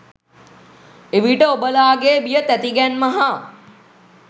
එවිට ඔබලාගේ බිය, තැතිගැන්ම, හා